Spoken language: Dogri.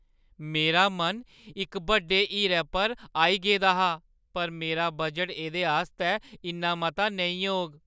मेरा मन इक बड्डे हीरे पर आई गेदा हा, पर मेरा बजट एह्दे आस्तै इन्ना मता नेईं होग।